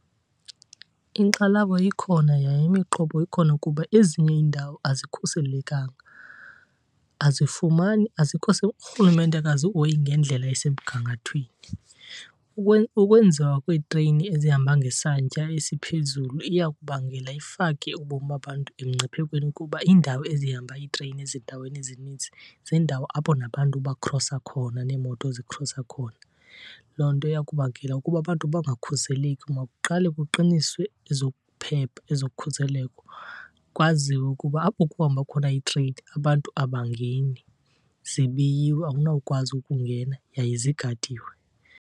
Inkxalabo ikhona yaye imiqobo ikhona kuba ezinye iindawo azikhuselekanga, azifumani, azikho , uRhulumente akazihoyi ngendlela esemgangathweni. Ukwenziwa kweetreyini ezihamba ngesantya esiphezulu iya kubangela ifake ubomi babantu emngciphekweni kuba iindawo ezihamba iitreyini ezindaweni ezininzi ziindawo apho nabantu bakhrosa khona, neemoto zikhrosa khona. Loo nto iya kubangela ukuba abantu bangakhuseleki. Makuqalwe kuqiniswe ezokuphepha, ezokhuseleko, kwaziwe ukuba apho kuhamba khona iitreyini abantu abangeni, zibiyiwe awunawukwazi ukungena yaye zigadiwe.